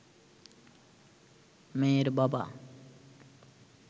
মেয়ের বাবা